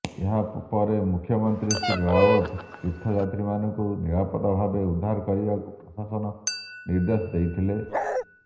ଏହା ପରେ ମୁଖ୍ୟମନ୍ତ୍ରୀ ଶ୍ରୀ ରାୱତ ତୀର୍ଥଯାତ୍ରୀମାନଙ୍କୁ ନିରାପଦ ଭାବେ ଉଦ୍ଧାର କରିବାକୁ ପ୍ରଶାସନକୁ ନିର୍ଦ୍ଦେଶ ଦେଇଥିଲେ